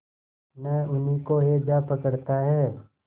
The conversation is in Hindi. न उन्हीं को हैजा पकड़ता है